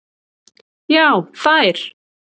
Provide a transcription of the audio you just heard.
Já þær.